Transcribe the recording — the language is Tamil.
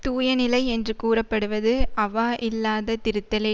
தூயநிலை என்று கூறப்படுவது அவா இல்லாத திருத்தலே